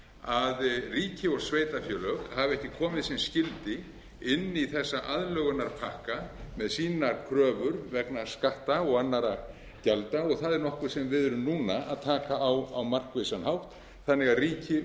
að ríki og sveitarfélög hafa ekki komið sem skyldi inn í þessa aðlögunarpakka með sínar kröfur vegna skatta og annarra gjalda og það er nokkuð sem við erum núna að taka á á markvissan hátt þannig að ríki og sveitarfélög og hið